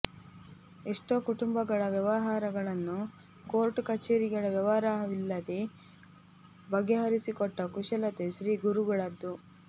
ಎಷ್ಟೋ ಕುಟುಂಬಗಳ ವ್ಯವಹಾರಗಳನ್ನೂ ಕೋರ್ಟ್ ಕಛೇರಿಗಳ ವ್ಯವಹಾರವಿಲ್ಲದೆ ಬಗೆಹರಿಸಿಕೊಟ್ಟ ಕುಶಲತೆ ಶ್ರೀಗುರುಗಳದು